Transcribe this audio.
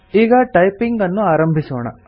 ಈಗ ಟೈಪಿಂಗ್ ಅನ್ನು ಆರಂಭಿಸೋಣ